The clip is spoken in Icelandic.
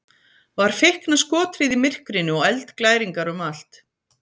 Var feikna skothríð í myrkrinu og eldglæringar um allt.